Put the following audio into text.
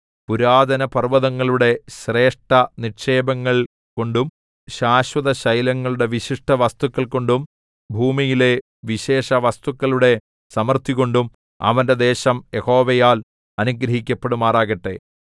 പുരാതനപർവ്വതങ്ങളുടെ ശ്രേഷ്ഠനിക്ഷേപങ്ങൾ കൊണ്ടും ശാശ്വതശൈലങ്ങളുടെ വിശിഷ്ടവസ്തുക്കൾ കൊണ്ടും ഭൂമിയിലെ വിശേഷവസ്തുക്കളുടെ സമൃദ്ധികൊണ്ടും അവന്റെ ദേശം യഹോവയാൽ അനുഗ്രഹിക്കപ്പെടുമാറാകട്ടെ